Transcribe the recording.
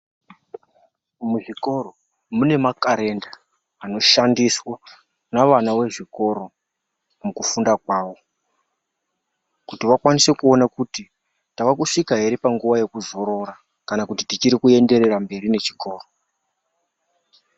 Muzvikoro mune makarenda anoshandiswa nevana vezvikoro mukufunda kwavo kuti vakwanise kuona kuti tavakusvika ere panguwa yekuzorora kana kuti tichiri kuenderera mberi nechikoro.